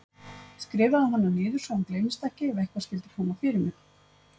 Skrifaðu hana niður svo hún gleymist ekki ef eitthvað skyldi koma fyrir mig.